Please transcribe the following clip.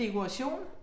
Dekoration?